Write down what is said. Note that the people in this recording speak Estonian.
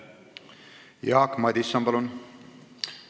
Jaak Madison, palun!